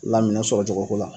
La minɛn sɔrɔcogo ko la